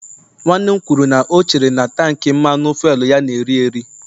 Nwanne m kwuru na o chere na tank Mmanụ fuelu ya na-eri eri